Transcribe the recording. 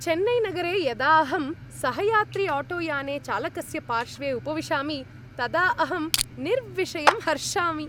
चेन्नैनगरे यदा अहं सहयात्रिआटोयाने चालकस्य पार्श्वे उपविशामि, तदा अहं निर्विषयम् हर्षामि।